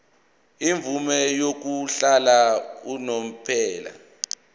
imvume yokuhlala unomphela